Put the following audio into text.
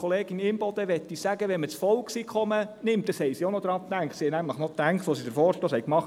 Zu Kollegin Imboden möchte ich sagen: Wenn man das Volkseinkommen nimmt – daran wurde auch noch beim Machen des Vorstosses gedacht;